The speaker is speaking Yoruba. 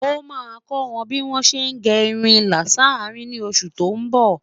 ọ má kò wọn bí wón sé gé irún ìlà s'arin ní oṣù tó n bó